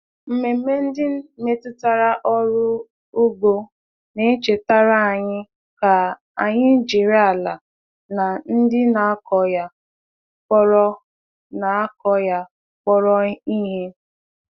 Mmemme ndị metụtara ọrụ ugbo na-echetara anyị ka anyị jiri ala na ndị na-akọ ya kpọrọ na-akọ ya kpọrọ ihe.